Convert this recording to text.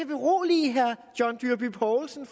berolige herre john dyrby paulsen